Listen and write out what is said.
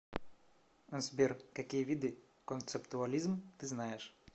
сбер какие виды концептуализм ты знаешь